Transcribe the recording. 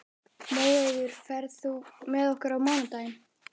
Móeiður, ferð þú með okkur á mánudaginn?